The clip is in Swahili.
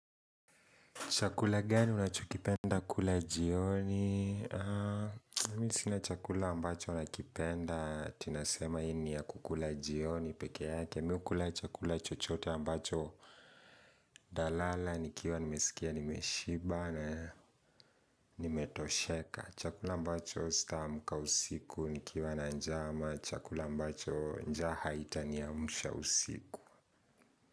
Chakula gani unachokipenda kula jioni? Mi sina chakula ambacho nakipenda, ati nasema hii ni ya kukula jioni pekee yake Mi hukula chakula chochote ambacho ntalala nikiwa nimesikia nimeshiba na nimetosheka chakula ambacho sitaamka usiku nikiwa na njaa ama chakula ambacho njaa itaniamsha usiku.